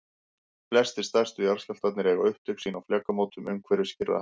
flestir stærstu jarðskjálftarnir eiga upptök sín á flekamótum umhverfis kyrrahafið